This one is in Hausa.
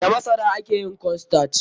Da masara ake yin corn starch.